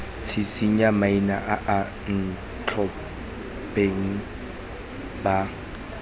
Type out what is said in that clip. tshisinya maina a bontlhopheng ba